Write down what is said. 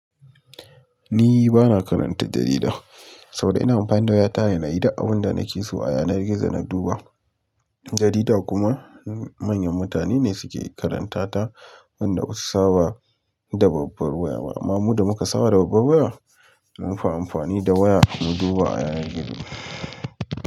Ni bana karanta jarida saboda ina amfani da waya tare na yi da abun da nake so a yanar gizo na duba. Jarida kuma manyan mutane ne suke karanta ta, wanda ba su saba da babbar waya ba. Amma mu da muka saba da babbar waya mun fi amfani da waya mu duba a yanar gizo.